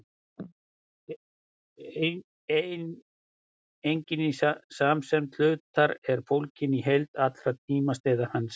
einingin í samsemd hlutar er fólgin í heild allra tímasneiða hans